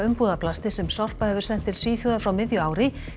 umbúðaplasti sem Sorpa hefur sent til Svíþjóðar frá miðju ári